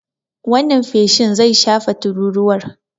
Wannan feshin zai shafe tururuwar.